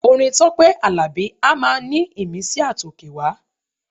Orin Tọ́pẹ́ Àlàbí a máa ní ìmísí àtòkèwá.